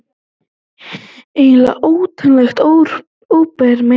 Eiginlega óttalegt óbermi.